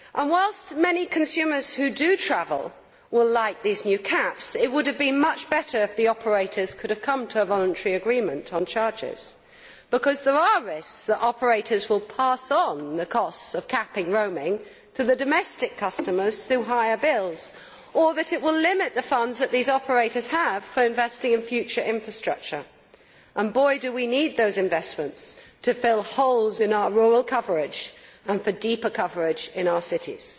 Whilst many consumers who do travel will like these new caps it would have been much better if the operators could have come to a voluntary agreement on charges, because there are risks that operators will pass on the costs of capping roaming to domestic customers through higher bills or that this will limit the funds that these operators have for investing in future infrastructure and boy, do we need those investments to fill holes in our rural coverage and for deeper coverage in our cities.